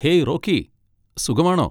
Hey, Rocky. സുഖമാണോ?